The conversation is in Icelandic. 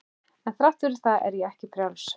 En þrátt fyrir það er ég ekki frjáls.